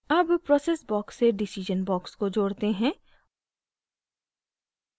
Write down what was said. अब process box से decision box को जोड़ते हैं